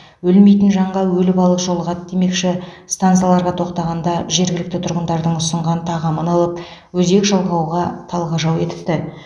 өлмейтін жанға өлі балық жолығады демекші стансаларға тоқтағанда жергілікті тұрғындардың ұсынған тағамын алып өзек жалғауға талғажау етіпті